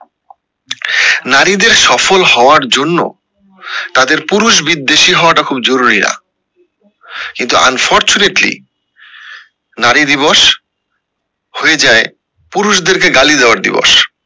নারীদের সফল হওয়ার জন্য তাদের পুরুষ বিদ্বেষী হওয়া টা খুব জরুরি না কিন্তু unfortunately নারী দিবস হয়ে যায় পুরুষদের কে গালি দেয়ার দিবস